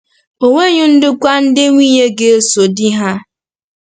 E nweghị ndokwa ndị nwunye ga-eso di ha.